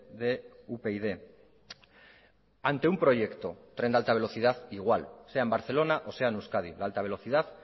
de upyd ante un proyecto tren de alta velocidad igual sea en barcelona o sea en euskadi la alta velocidad